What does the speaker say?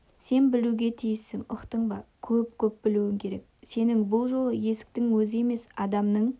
сен білуге тиіссің ұқтың ба көп көп білуің керек сенің бұл жолы есіктің өзі емес адамның